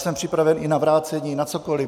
Jsem připraven i na vrácení, na cokoli.